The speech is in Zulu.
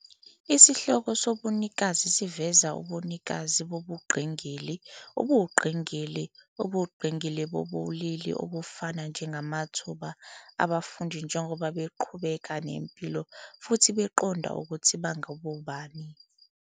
Isihloko sobunikazi siveza ubunikazi bobungqingili, ubungqingili, ubungqingili nobulili obufanayo njengamathuba abafundi njengoba beqhubeka nempilo futhi beqonda ukuthi bangobani.